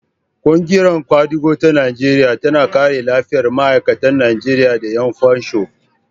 Ƙungiyar ƙwadago ta Najeriya tana kare lafiyar ma'aikata Najeriya da ƴan fansho.